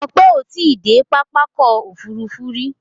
Ope o ti de papá ọ̀kọ̀ ofúrúfú ri